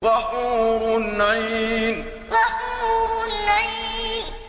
وَحُورٌ عِينٌ وَحُورٌ عِينٌ